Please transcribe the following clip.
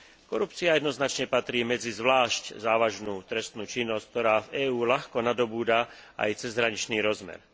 Korupcia jednoznačne patrí medzi zvlášť závažnú trestnú činnosť, ktorá v EÚ ľahko nadobúda aj cezhraničný rozmer.